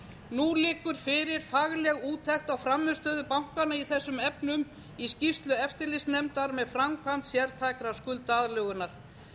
nú liggur fyrir fagleg úttekt á frammistöðu bankanna í þessum efnum í skýrslu eftirlitsnefndar með framkvæmd sértækrar skuldaaðlögunar